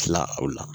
Tila o la